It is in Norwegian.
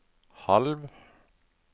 halv